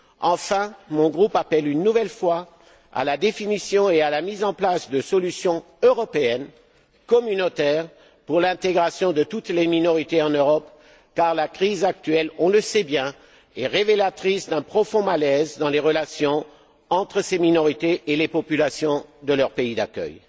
Enfin, mon groupe appelle une nouvelle fois à la définition et à la mise en place de solutions européennes, communautaires, pour l'intégration de toutes les minorités en Europe, car la crise actuelle on le sait bien est révélatrice d'un profond malaise dans les relations entre ces minorités et les populations de leur pays d'accueil.